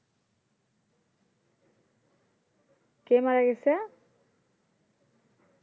কে মারা গেছে